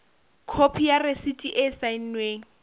khopi ya rasiti e saennweng